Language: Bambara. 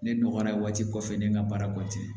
Ne nɔgɔyara waati kɔfɛ ne n ka baara kɔten